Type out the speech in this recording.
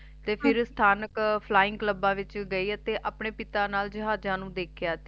ਤੇ ਫਿਰ ਸਥਾਨਕ Flyingclubs ਵਿਚ ਗਈ ਅਤੇ ਆਪਣੇ ਪਿਤਾ ਨਾਲ ਜਹਾਜਾਂ ਨੂੰ ਦੇਖਿਆ ਤੇ